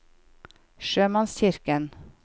sjømannskirken